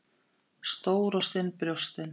Stór og stinn brjóstin.